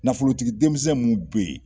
Nafolotigi denmisɛn minnu bɛ yen